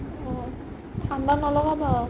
অ', ঠাণ্ডা নলগাবা